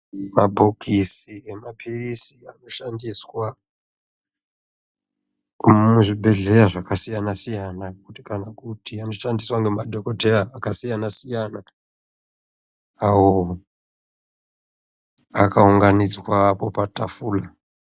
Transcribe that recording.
Mabhokisi emapirzi anoshandiswa muzvibhedhlera akasiyana siyana kana kuti anoshandiswa nemadhokodheya akasiyana siyana awo akaunganidzwa apo patafura.